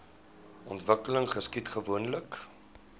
ontwikkeling geskied gewoonlik